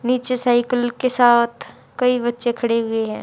नीचे साइकिल के साथ कई बच्चे खड़े हुए हैं।